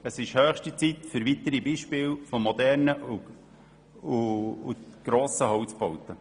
Es ist höchste Zeit für weitere Beispiele moderner und grosser Holzbauten.